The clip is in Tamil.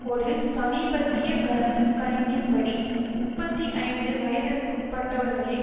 ஒரு சமீபத்திய கருத்து கணக்கின்படி முப்பத்தி ஐந்து வயதிற்குட்பட்டவர்களில்